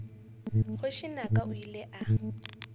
kgoši naka o ile a